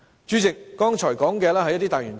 主席，我剛才說的是一些大原則。